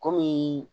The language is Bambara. Kɔmi